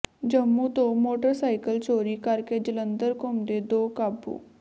ਜੰਮੂ ਤੋਂ ਮੋਟਰਸਾਈਕਲ ਚੋਰੀ ਕਰ ਕੇ ਜਲੰਧਰ ਘੁੰਮਦੇ ਦੋ ਕਾਬੂ